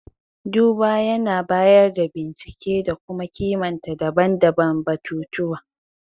duba yAna bayar da bincike da kuma kimanta daban-daban batutuwa